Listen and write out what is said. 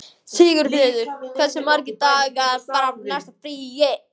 Sigfreður, hversu margir dagar fram að næsta fríi?